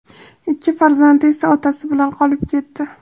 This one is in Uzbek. Ikki farzandi esa otasi bilan qolib ketdi.